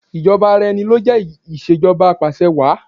Ìjọba ara ẹni lọ ń jẹ́ Ìṣèjọba Apàṣẹwàá.